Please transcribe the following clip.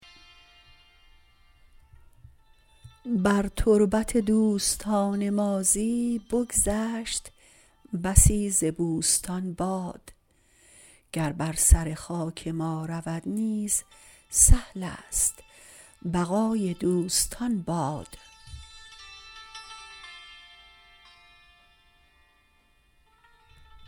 بر تربت دوستان ماضی بگذشت بسی ز بوستان باد گر بر سر خاک ما رود نیز سهلست بقای دوستان باد